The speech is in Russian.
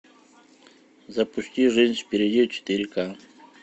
запусти жизнь впереди четыре ка